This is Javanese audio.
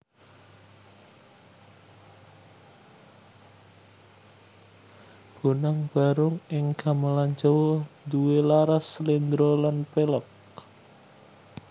Bonang Barung ing Gamelan Jawa duwé laras Sléndro lan Pélog